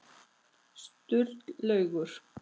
Sturlaugur